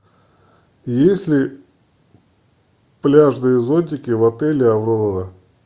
есть ли пляжные зонтики в отеле аврора